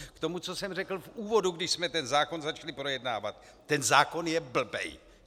K tomu, co jsem řekl v úvodu, když jsme ten zákon začali projednávat - ten zákon je blbej!